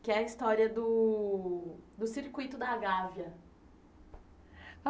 que é a história do do Circuito da Gávea. Ah